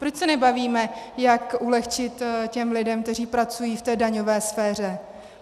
Proč se nebavíme, jak ulehčit těm lidem, kteří pracují, v té daňové sféře?